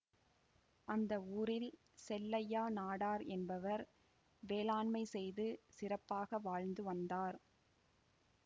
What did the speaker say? அந்த ஊரில் செல்லையா நாடார் என்பவர் வேளாண்மை செய்து சிறப்பாக வாழ்ந்து வந்தார்